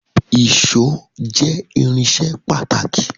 Èṣó jẹ irinṣẹ́ pàtàkì